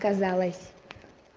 казалось